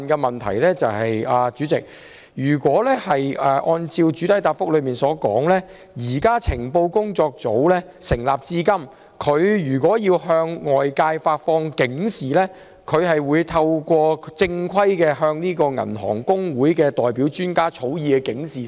不過，主席，主體答覆提及，情報工作組成立至今，向外界發放警示的正規做法，是透過香港銀行公會發放由銀行代表專家草擬的警示。